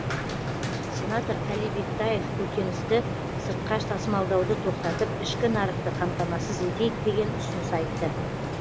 сенатор әли бектаев көкөністі сыртқа тасымалдауды тоқтатып ішкі нарықты қамтамасыз етейік деген ұсыныс айтты